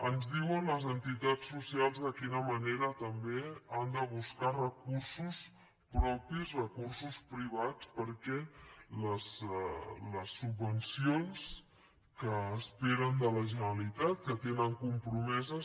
ens diuen les entitats socials de quina manera també han de buscar recursos propis recursos privats perquè les subvencions que esperen de la generalitat que tenen compromeses